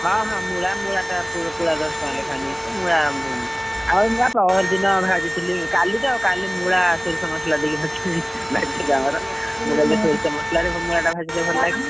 ହଁ ହଁ ମୂଳା ମୂଳାଟା ପୁଳା ଦଶ ଟଙ୍କା ଲେଖା ନଉଛି ମୂଳା ଆଉ ମୂଳା ପରଦିନ ଭାଜିଥିଲି କାଲିତ କାଲି ମୂଳା ସୋରିଷ ମସଲା ଦେଇକି ଭାଜିଥିଲି ଭାଜିଥିଲୁ ଆମର ସୋରିଷ ମସଲାରେ ମୂଳାଟା ଭାଜିଲେ ଭଲ ଲାଗେନି?